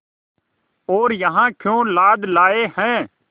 और यहाँ क्यों लाद लाए हैं